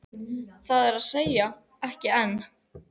Það er að segja, ekki enn.